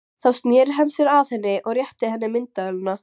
Þá sneri hann sér að henni og rétti henni myndavélina.